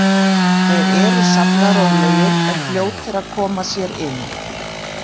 Þeir eru sallarólegir en fljótir að koma sér inn.